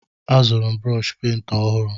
Azụrụ m brọshi pent ọhụrụ.